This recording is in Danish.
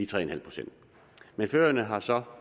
tre pct men færøerne har så